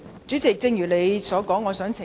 主席，因應你的說法，我想要求澄清。